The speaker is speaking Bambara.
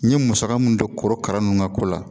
N ye musaka mun don korokara nunnu ka ko la